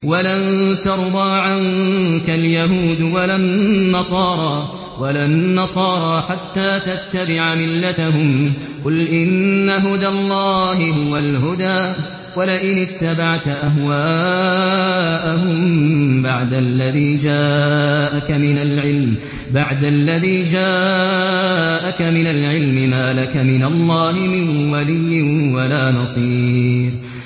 وَلَن تَرْضَىٰ عَنكَ الْيَهُودُ وَلَا النَّصَارَىٰ حَتَّىٰ تَتَّبِعَ مِلَّتَهُمْ ۗ قُلْ إِنَّ هُدَى اللَّهِ هُوَ الْهُدَىٰ ۗ وَلَئِنِ اتَّبَعْتَ أَهْوَاءَهُم بَعْدَ الَّذِي جَاءَكَ مِنَ الْعِلْمِ ۙ مَا لَكَ مِنَ اللَّهِ مِن وَلِيٍّ وَلَا نَصِيرٍ